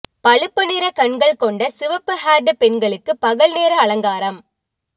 பழுப்பு நிற கண்கள் கொண்ட சிவப்பு ஹேர்டு பெண்களுக்கு பகல்நேர அலங்காரம்